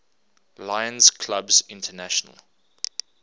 lions clubs international